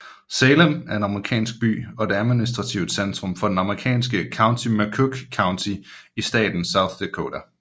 Salem er en amerikansk by og administrativt centrum for det amerikanske county McCook County i staten South Dakota